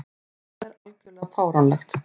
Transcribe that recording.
Þetta er algjörlega fáránlegt.